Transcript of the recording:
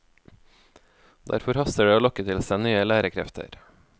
Derfor haster det å lokke til seg nye lærekrefter.